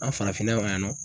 An farafinna yan nɔ